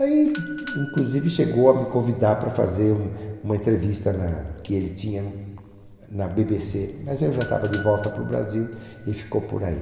Aí inclusive chegou a me convidar para fazer um uma entrevista na que ele tinha na BBC, mas aí eu já estava de volta para o Brasil e ficou por aí.